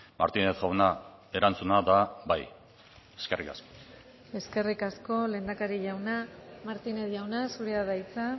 martínez jauna erantzuna da bai eskerrik asko eskerrik asko lehendakari jauna martínez jauna zurea da hitza